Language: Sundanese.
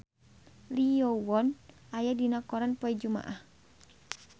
Lee Yo Won aya dina koran poe Jumaah